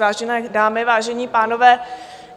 Vážené dámy, vážení pánové,